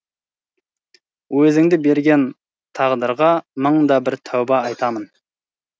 өзіңді берген тағдырға мың да бір тәуба айтамын